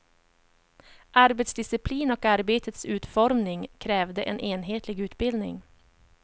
Arbetsdisciplin och arbetets utformning krävde en enhetlig utbildning.